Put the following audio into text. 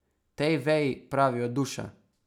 Tej veji pravijo duša.